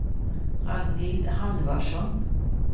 Ragnhild Halvarsson